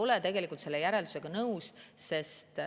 Ma ei ole selle järeldusega nõus.